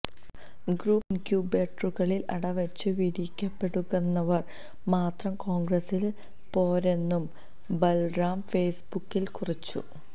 group ഇന്ക്യുബേറ്ററുകളില് അട വച്ച് വിരിയിക്കപ്പെടുന്നവര് മാത്രം കോണ്ഗ്രസില് പോരെന്നും ബല്റാം ഫെയ്സ്ബുക്കില് കുറിച്ചു